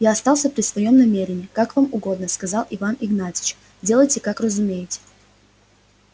я остался при своём намерении как вам угодно сказал иван игнатьич делайте как разумеете